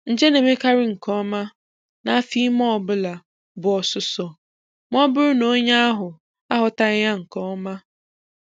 Nje na-emekarị nke ọma n' afo ime ọbụla bu osụ́sọ, ma ọ bụrụ na onye ahụ aghọtaghị ya nke oma.